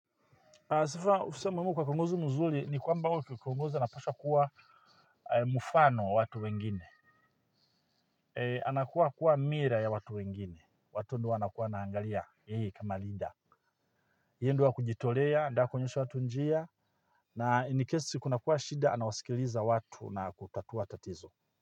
Sifa, husema wema kwa kiongozi mzuri ni kwamba huyo kiongozi anapaswa kuwa mfano wa watu wengine. Anakuwa kuwa mirror ya watu wengine. Watu ndiyo waanakuwa wanaangalia. Hii, kama linda. Yeye ndiye wa kujitolea, aende akionyesha watu njia. Na inikesi kuna kuwa shida, anawasikiliza watu na kutatua tatizo.